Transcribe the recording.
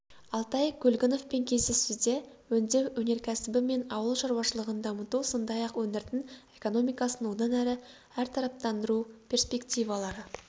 алтай көлгіновпен кездесуде өңдеу өнеркәсібі мен ауыл шаруашылығын дамыту сондай-ақ өңірдің экономикасын одан әрі әртараптандыру перспективалары